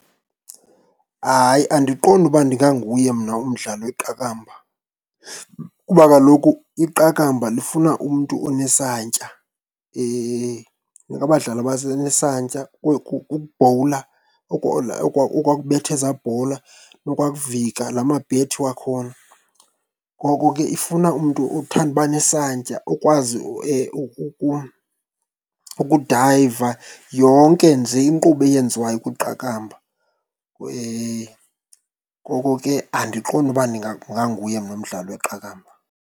Hayi andiqondi ukuba ndinganguye mna umdlali weqakamba kuba kaloku iqakamba lifuna umntu onesantya, kufuneka abadlali nesantya. Ukubhowula, okwaa kubetha ezaa bhola, nokwaa kuvika lamabhethi wakhona, ngoko ke ifuna umntu othande uba nesantya okwazi ukudayiva, yonke nje inkqubo eyenziwayo kwiqakamba, ngoko ke andiqondi uba mna umdlali weqakamba.